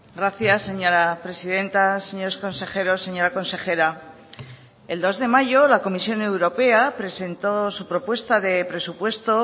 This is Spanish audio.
gracias señora presidenta señores consejeros señora consejera el dos de mayo la comisión europea presentó su propuesta de presupuesto